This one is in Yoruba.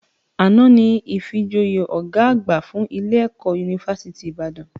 Àná ni ìfijoyè ọ̀gá àgbà fún ilé - ẹ̀kọ́ unifásítì Ìbàdàn